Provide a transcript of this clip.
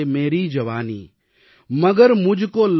भले छीन लो मुझसे मेरी जवानी